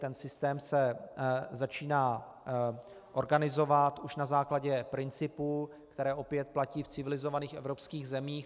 Ten systém se začíná organizovat už na základě principů, které opět platí v civilizovaných evropských zemích.